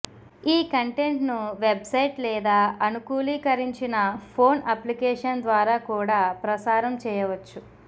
ఈ కంటెంట్ను వెబ్సైట్ లేదా అనుకూలీకరించిన ఫోన్ అప్లికేషన్ ద్వారా కూడా ప్రసారం చేయవచ్చు